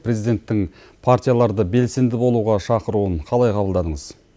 президенттің партияларды белсенді болуға шақыруын қалай қабылдадыңыз